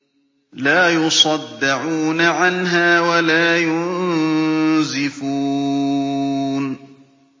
لَّا يُصَدَّعُونَ عَنْهَا وَلَا يُنزِفُونَ